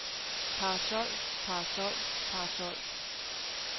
parasol parasol parasol